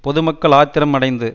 பொது மக்கள் ஆத்திரம் அடைந்து